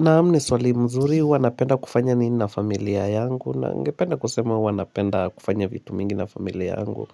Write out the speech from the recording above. Naam, ni swali mzuri, huwa napenda kufanya nini na familia yangu, na ningependa kusema huwa napenda kufanya vitu mingi na familia yangu